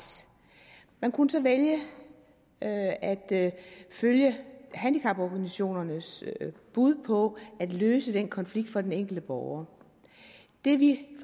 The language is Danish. man kunne så vælge at at følge handicaporganisationernes bud på at løse den konflikt for den enkelte borger det vi